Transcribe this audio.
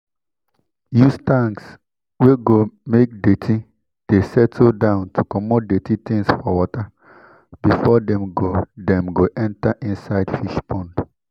use tanks wey go make dirty de settle down to comot dirty things for water before dem go dem go enter inside fish pond